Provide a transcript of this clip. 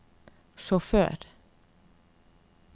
sjåfør